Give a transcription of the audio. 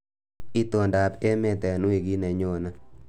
Itondoab emet eng wikit nenyone